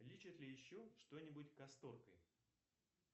лечат ли еще что нибудь касторкой